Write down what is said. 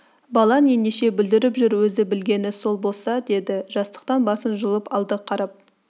балаң ендеше бүлдіріп жүр өзі білгені сол болса деді жастықтан басын жұлып алды қарап